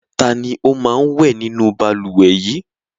Ta ni ó máa ń wẹ̀ nínú balùwẹ̀ yìí?